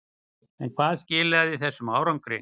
En hvað skilaði þessum árangri?